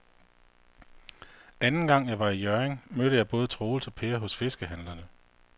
Anden gang jeg var i Hjørring, mødte jeg både Troels og Per hos fiskehandlerne.